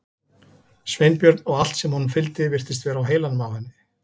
Sveinbjörn og allt sem honum fylgdi virtist vera á heilanum á henni.